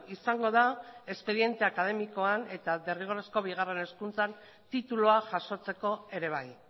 izango da espediente akademikoan eta derrigorrezko bigarren hezkuntzan titulua jasotzeko ere bai